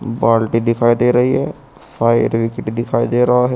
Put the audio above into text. बाल्टी दिखाई दे रही है फायर ब्रिगेड दिखाई दे रहा है।